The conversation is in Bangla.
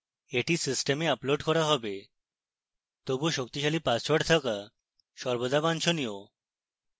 এটি system আপলোড করা have তবুও শক্তিশালী পাসওয়ার্ড থাকা সর্বদা বাঞ্ছনীয়